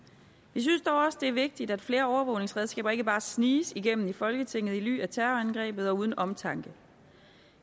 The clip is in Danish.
vi synes dog også det er vigtigt at flere overvågningsredskaber ikke bare sniges igennem i folketinget i ly af terrorangrebet og uden omtanke